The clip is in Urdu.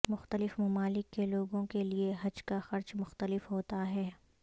مختلف ممالک کے لوگوں کے لیے حج کا خرچ مختلف ہوتا ہے